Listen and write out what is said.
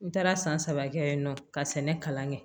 N taara san saba kɛ yen nɔ ka sɛnɛ kalan kɛ